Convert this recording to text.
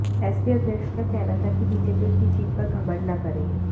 SP अध्यक्ष का कहना था कि बीजेपी अपनी जीत पर घमंड न करे